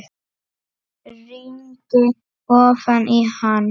Rýndi ofan í hann.